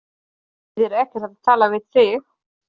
Það þýðir ekkert að tala við þig.